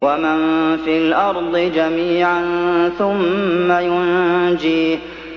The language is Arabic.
وَمَن فِي الْأَرْضِ جَمِيعًا ثُمَّ يُنجِيهِ